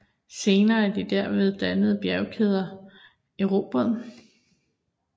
Senere er de derved dannede bjergkæder eroderede